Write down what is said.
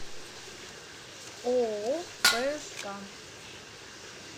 ооо пск